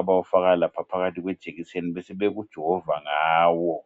abawufaka phakathi kwejekiseni besebekujova ngawo.